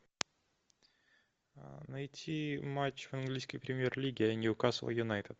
найти матч английской премьер лиги ньюкасл юнайтед